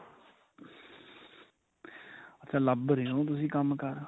ਅੱਛਾ ਲੱਭ ਰਹੇ ਓ ਤੁਸੀਂ ਕੰਮ ਕਾਰ